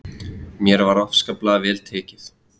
Mér var afskaplega vel tekið.